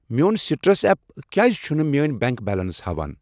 میون citrus app کیٛازِ چھنہٕ میٲنۍ بینک بیلینس ہاوان؟